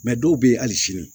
dɔw bɛ yen hali sini